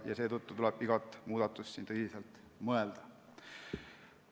Seetõttu tuleb igat muudatust tõsiselt kaaluda.